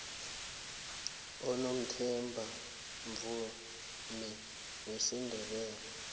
unomathemba mvumi wesindebele